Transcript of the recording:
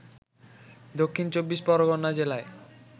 দক্ষিণ চব্বিশ পরগনা জেলায়